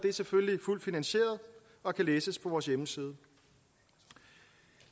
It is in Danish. er selvfølgelig fuldt finansieret og kan læses på vores hjemmeside